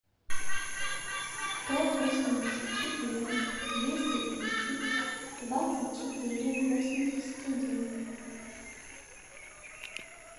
сто восемьдесят четыре двести тридцать двадцать четыре восемьдесят один